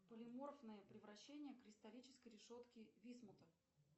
полиморфное превращение кристаллической решетки висмута